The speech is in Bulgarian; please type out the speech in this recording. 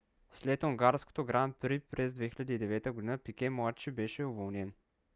след унгарското гран при през 2009 г. пике младши беше уволнен